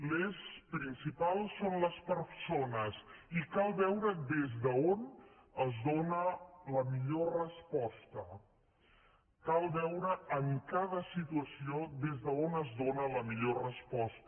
l’eix principal són les persones i cal veure des d’on es dóna la millor resposta cal veure en cada situació des d’on es dóna la millor resposta